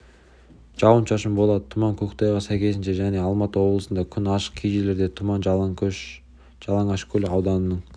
жауын-шашын болады тұман көктайғақ сәйкесінше және алматы облысында күн ашық кей жерлерде тұман жалаңашкөл ауданының